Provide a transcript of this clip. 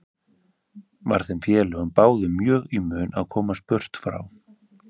Var þeim félögum báðum mjög í mun að komast burt frá